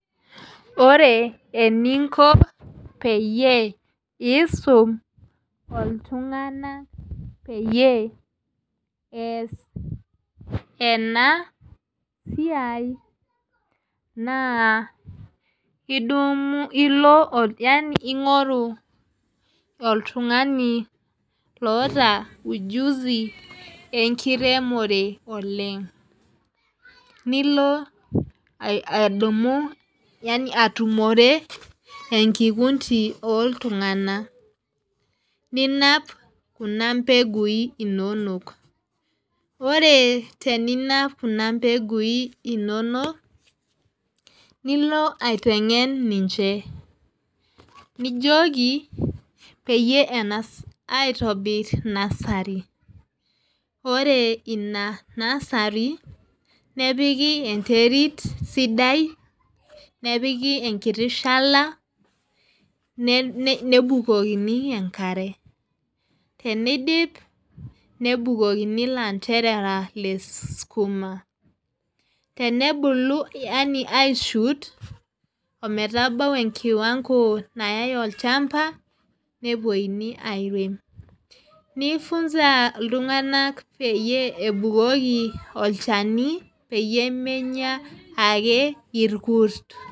Ore eninko peyie isun iltung'ana peyie ees ena siai naa idumu ilo ing'oru oltung'ani loota ujuzi lee nkiremore oleng'. Nilo adumu yaani atumore enkikundi oo iltung'anak. Ninap kuna mbeguin inonok. Ore teninap kuna mbeguin inonok nilo aiteng'en ninche. Nijoki peyie eng'as aitobir nursery. Ore ina nursery nepiki enterit sidai nepiki enkiti shala nebukokini enkare. Teneidip nebukokini ilanterera le skuma tenebulu yaani aii shoot ometabau enkiwanko nayai olchamba nepuo airem. Nii funza iltung'anak peyie ebukoki olchani peyie menya ake irkut.